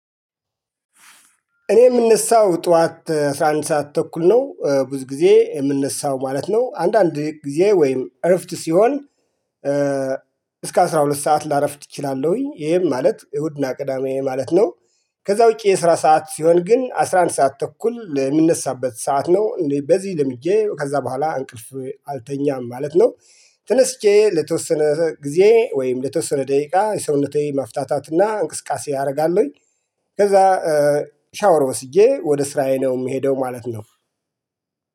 እኔ የምነሳው ጠዋት አስራ አንድ ሰዓት ተኩል ነው ብዙ ጊዜ የምነሳው ማለት ነው አንዳንድ ጊዜ ወይም እረፍት ሲሆን። እስከ አስራ ሁለት ሰዓት ላረፍድ እችላለሁኝ ይሄም ማለት እሁድና ቅዳሜ ማለት ነው። ከዛ ውጪ የስራ ሰዓት ሲሆን ግን አስራ አንድ ሰዓት ተኩል ምነሳበት ሰዓት ነው እንዴ? በዚህ ልምጄ ከዛ በኋላ እንቅልፍ አልተኛም ማለት ነው። ተነስቼ ለተወሰነ ጊዜ ወይም ለተወሰነ ደቂቃ ሰውነቴ መፍታታት እና እንቅስቃሴ አደርጋለሁኝ። ከዛ ሻወር ወስጄ ወደ ስራዬ ነው የምሄደው። ማለት ነው